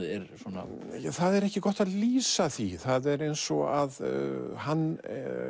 er svona það er ekki gott að lýsa því það er eins og hann